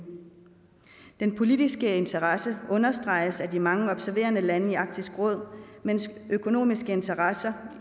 den politiske interesse understreges af de mange observerende lande i arktisk råd mens økonomiske interesser